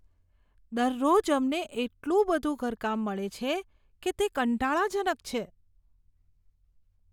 દરરોજ અમને એટલું બધું ઘરકામ મળે છે કે તે કંટાળાજનક છે.